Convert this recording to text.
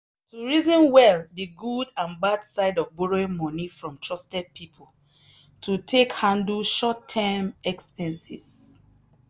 to reason well the good and bad side of borrowing money from trusted people to take handle short term expenses.